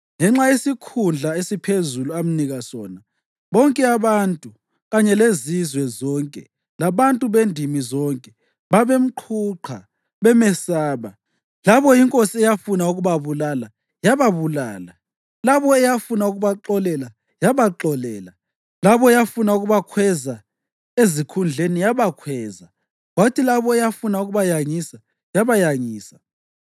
Ngenxa yesikhundla esiphezulu amnika sona, bonke abantu kanye lezizwe zonke labantu bendimi zonke babemqhuqha, bemesaba. Labo inkosi eyafuna ukubabulala, yababulala; labo eyafuna ukubaxolela, yabaxolela; labo eyafuna ukubakhweza ezikhundleni yabakhweza; kwathi labo eyafuna ukubayangisa, yabayangisa.